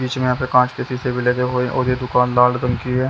बीच में यहाँ पे कांच के सीसे भी लगे हुए और ये दुकान लाल रंग की।